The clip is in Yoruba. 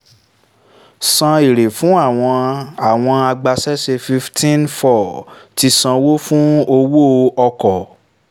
san èrè fún àwọn àwọn agbaṣẹ́ṣe fifteen four ti sanwó fún owó-ọkọ̀